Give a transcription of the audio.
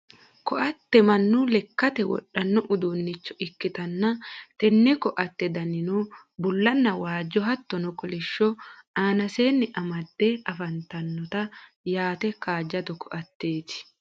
koatte mannu lekkate wodhanno uduunicho ikkitanna, tenne koatte danino bullanna waajjo hattono kolishsho aanaseenni amadde afantannote yaate kaajjado koatteeti .